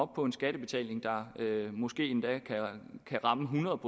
på en skattebetaling der måske endda kan ramme hundrede